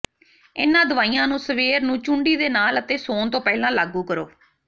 ਇਨ੍ਹਾਂ ਦਵਾਈਆਂ ਨੂੰ ਸਵੇਰ ਨੂੰ ਚੂੰਡੀ ਦੇ ਨਾਲ ਅਤੇ ਸੌਣ ਤੋਂ ਪਹਿਲਾਂ ਲਾਗੂ ਕਰੋ